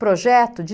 projeto de